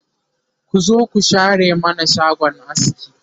ku zo ku share mana shagon askin